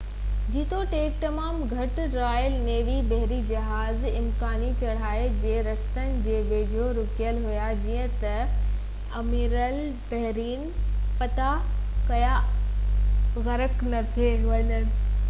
جيتوڻيڪ تمام گهٽ رائل نيوي بحري جهاز امڪاني چڙهائي جي رستن جي ويجهو رُڪيل هئا جئين ته اميرالبحر ڊڄن پيا ته ڪٿي اهي جرمن هوائي حملي ۾ غرق نه ٿي وڃن